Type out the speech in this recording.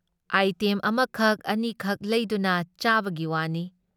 Item ꯑꯃꯈꯛ ꯑꯅꯤꯈꯛ ꯂꯩꯗꯨꯅ ꯆꯥꯕꯒꯤ ꯋꯥꯅꯤ ꯫